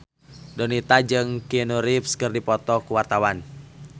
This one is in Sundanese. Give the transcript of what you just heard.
Donita jeung Keanu Reeves keur dipoto ku wartawan